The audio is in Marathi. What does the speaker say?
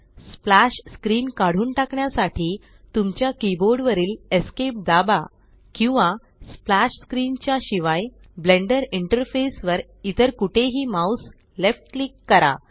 स्प्लॅश स्क्रीन काढून टाकण्यासाठी तुमच्या कीबोर्ड वरील ESC दाबा किंवा स्प्लॅश स्क्रीन च्या शिवाय ब्लेण्डर इंटरफेस वर इतर कुठेही माउस लेफ्ट क्लिक करा